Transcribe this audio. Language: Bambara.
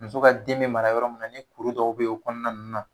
Muso ka den bɛ mara yɔrɔ mun na ni kuru dɔw bɛ o kɔnɔna ninnu na